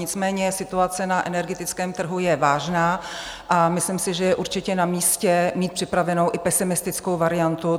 Nicméně situace na energetickém trhu je vážná a myslím si, že je určitě namístě mít připravenou i pesimistickou variantu.